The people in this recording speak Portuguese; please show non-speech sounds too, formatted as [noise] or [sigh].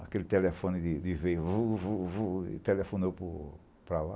Aquele telefone de, [unintelligible] e telefonou para lá.